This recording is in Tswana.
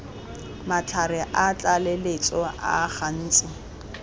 matlhare a tlaleletso a gantsi